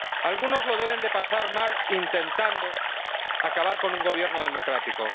Algunos lo deben de pasar mal intentando acabar con un gobierno democrático.